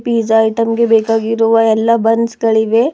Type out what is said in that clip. Fiza item ಗೆ ಬೇಕಾಗಿರುವ ಎಲ್ಲಾ ಬನ್ಸ್ ಗಳಿವೆ.